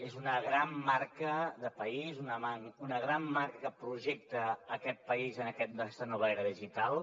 és una gran marca de país una gran marca que projecta aquest país en aquesta nova era digital